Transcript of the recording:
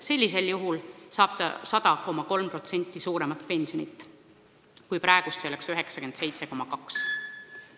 Sellisel juhul saab inimene 100,3% suuremat pensionit, praegu oleks see 97,2%.